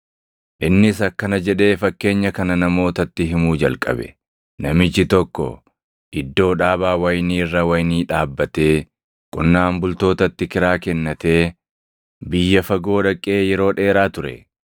Innis akkana jedhee fakkeenya kana namootatti himuu jalqabe; “Namichi tokko iddoo dhaabaa wayinii irra wayinii dhaabbatee, qonnaan bultootatti kiraa kennatee biyya fagoo dhaqee yeroo dheeraa ture.